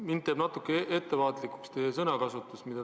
Mind teeb natuke ettevaatlikuks teie sõnakasutus.